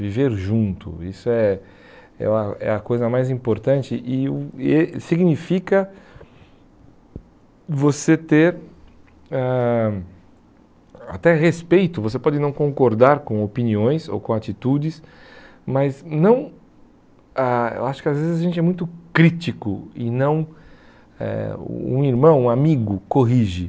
Viver junto, isso é é a coisa mais importante e o e significa você ter ãh até respeito, você pode não concordar com opiniões ou com atitudes, mas não... Ah eu acho que às vezes a gente é muito crítico e não... Eh um irmão, um amigo, corrige.